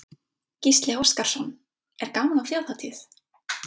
Gísli Óskarsson: Er gaman á þjóðhátíð?